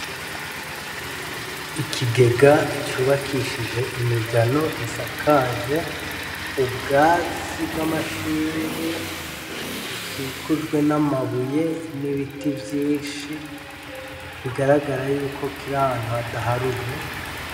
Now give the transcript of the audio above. Ikigega c'ubakishije imigano isakaje ubwatsi bw'amashinge ,bukikujwe n'amabuye n'ibiti vyinshi ,bigaragara yuko kiri ahantu hadaharuye.